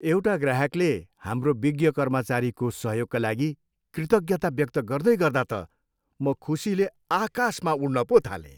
एउटा ग्राहकले हाम्रो विज्ञ कर्मचारीको सहयोगका लागि कृतज्ञता व्यक्त गर्दैगर्दा त म खुसीले आकाशमा उड्न पो थालेँ।